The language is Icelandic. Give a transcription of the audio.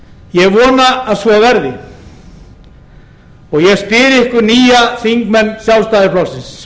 ég vona að svo verði ég spyr ykkur nýja þingmenn sjálfstæðisflokksins